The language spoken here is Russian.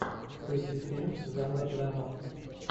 включи фильм жанра драма